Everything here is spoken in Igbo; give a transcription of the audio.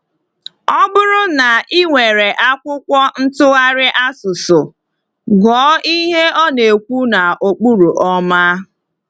Ọ bụrụ na ị nwere akwụkwọ ntụgharị asụsụ, gụọ ihe ọ na-ekwu n’okpuru “ọma.”